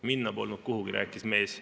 Minna polnud kuhugi," rääkis mees.